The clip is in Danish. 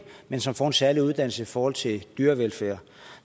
men som får en særlig uddannelse i forhold til dyrevelfærd